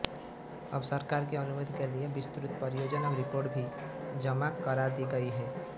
अब सरकार की अनुमति के लिए विस्तृत परियोजना रिपोर्ट भी जमा करा दी गई है